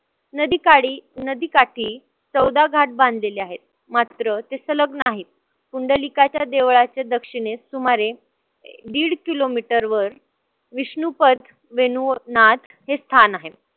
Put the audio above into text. नाडीकाडी नदीकाठी चौदा घाट बांधलेले आहेत. मात्र ते संलग्न आहेत. पुंडलीकाच्या देवळाचे दक्षिणेस सुमारे दीड kilometer वर विष्णुपथ वेणू व नाद हे स्थान आहे.